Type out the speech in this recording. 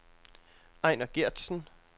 Ejner Gertsen